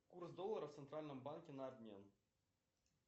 курс доллара в центральном банке на обмен